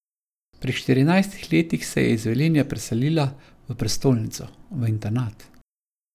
Pri štirinajstih letih se je iz Velenja preselila v prestolnico, v internat.